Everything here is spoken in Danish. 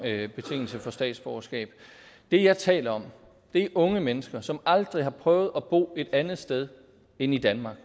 betingelse for statsborgerskab det jeg taler om er unge mennesker som aldrig har prøvet at bo et andet sted end i danmark